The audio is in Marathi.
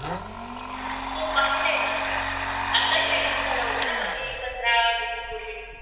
हो पाहिलंय ना आताच release झाला होता ना मागे पंधरा दिवसापूर्वी